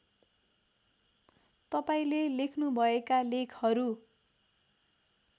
तपाईँले लेख्नुभएका लेखहरू